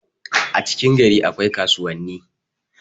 a cikin gari akwai kaauwanni